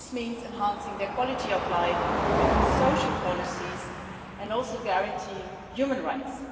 This means enhancing their quality of life, improving social policies, and guaranteeing human rights.